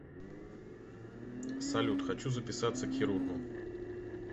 салют хочу записаться к хирургу